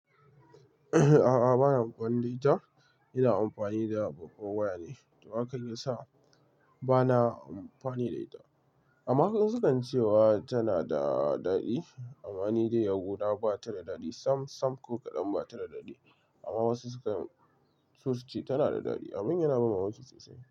A'a, ba na amfani da ita. Ina amfani da babbar waya ne, toh hakan ya sa ba na amfani da ita. Amma wasu in su kan ce wa tana da daɗi amma ni dai a gu na ba ta da daɗi. Sam-sam ko kaɗan ba ta da daɗi amma wasu su kan so su ce tana da daɗi. Abun yana ban mamaki sosai.